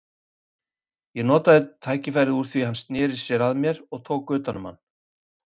Ég notaði tækifærið úr því hann sneri að mér og tók utan um hann.